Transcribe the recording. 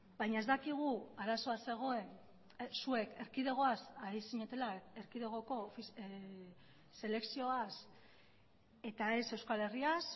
baina ez dakigu arazoa zegoen zuek erkidegoaz ari zinetela erkidegoko selekzioaz eta ez euskal herriaz